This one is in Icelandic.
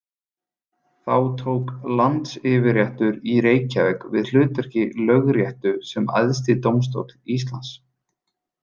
Þá tók landsyfirréttur í Reykjavík við hlutverki Lögréttu sem æðsti dómstóll Íslands.